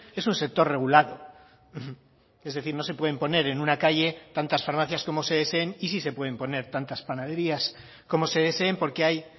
es un sector regulado es decir no se pueden poner en una calle tantas farmacias como se deseen y sí se pueden poner tantas panaderías como se deseen porque hay